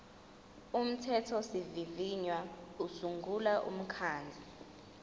umthethosivivinyo usungula umkhandlu